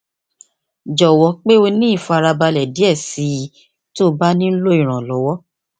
jọwọ pe o ni ifarabalẹ diẹ sii ti o ba nilo iranlọwọ